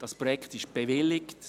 Das Projekt ist bewilligt.